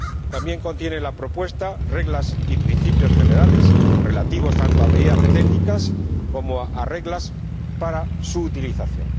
También contiene la propuesta reglas y principios generales relativos tanto a medidas técnicas como a normas para su utilización.